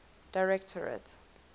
directorate